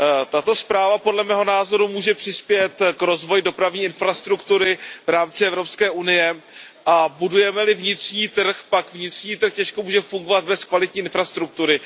Tato zpráva může podle mého názoru přispět k rozvoji dopravní infrastruktury v rámci EU a budujeme li vnitřní trh, pak vnitřní trh těžko může fungovat bez kvalitní infrastruktury.